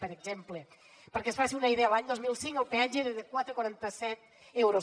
per exemple perquè es faci una idea l’any dos mil cinc el peatge era de quatre coma quaranta set euros